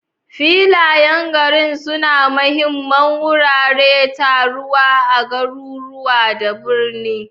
Filayen gari sune mahimman wuraren taruwa a garuruwa da birane.